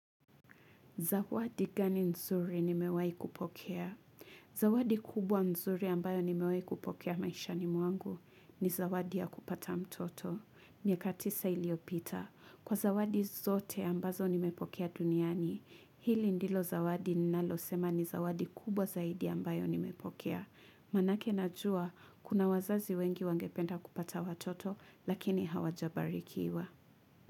Zawadi gani nzuri nimewahi kupokea? Zawadi kubwa nzuri ambayo nimewahi kupokea maishani mwangu ni zawadi ya kupata mtoto. Miaka tisa iliyopita. Kwa zawadi zote ambazo nimepokea duniani. Hili ndilo zawadi ninalosema ni zawadi kubwa zaidi ambayo nimepokea. Maanake najua, kuna wazazi wengi wangependa kupata watoto, lakini hawajabarikiwa.